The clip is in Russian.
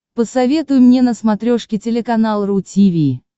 посоветуй мне на смотрешке телеканал ру ти ви